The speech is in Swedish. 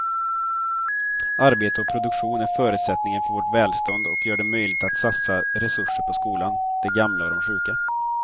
Arbete och produktion är förutsättningen för vårt välstånd och gör det möjligt att satsa resurser på skolan, de gamla och de sjuka.